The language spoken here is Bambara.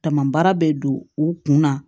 Tama baara bɛ don u kun na